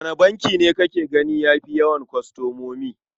Wane banki ne kake gani ya fi yawan kwastomomi?